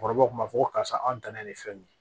Kɔrɔbɔrɔw kun b'a fɔ ko karisa anw dannen ye fɛn min ye